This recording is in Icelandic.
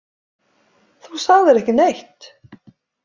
Þú sagðir ekki neitt.